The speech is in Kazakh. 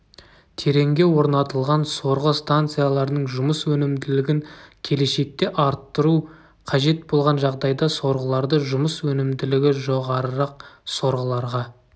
тереңге орнатылған сорғы станцияларының жұмыс өнімділігін келешекте арттыру қажет болған жағдайда сорғыларды жұмыс өнімділігі жоғарырақ сорғыларға